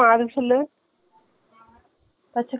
notclear கொலுசு போடுவாங்களே அது முடிக்கும் இருக்குதா அந்த பச்சை color .